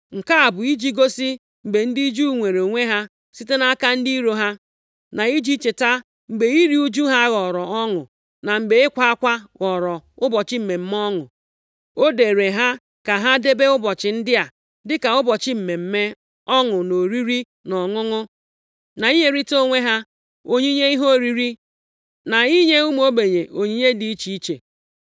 Nke a bụ iji gosi mgbe ndị Juu nweere onwe ha site nʼaka ndị iro ha, na iji cheta mgbe iru ụjụ ha ghọrọ ọṅụ, na mgbe ịkwa akwa ha ghọrọ ụbọchị mmemme ọṅụ. O deere ha ka ha debe ụbọchị ndị a dịka ụbọchị mmemme ọṅụ na oriri na ọṅụṅụ, na inyerịta onwe ha onyinye ihe oriri na inye ụmụ ogbenye onyinye dị iche iche. + 9:22 \+xt Abụ 30:11\+xt*